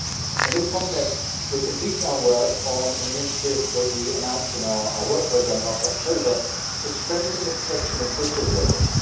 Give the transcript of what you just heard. In this context, we are completing our work on an initiative that we announced in our work programme last October to strengthen the protection of whistleblowers.